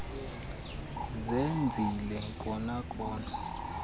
zenzile kona kona